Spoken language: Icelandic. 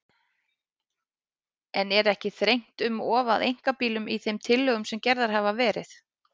En er ekki þrengt um of að einkabílnum í þeim tillögum sem gerðar hafa verið?